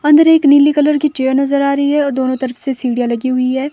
अंदर एक नीली कलर की चेयर नजर आ रही है और दोनों तरफ से सीढ़ियां लगी हुई है।